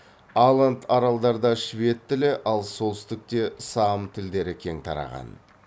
аланд аралдарда швед тілі ал солтүстікте саам тілдері кең тараған